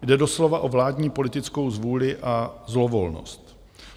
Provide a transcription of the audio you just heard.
Jde doslova o vládní politickou zvůli a zlovolnost.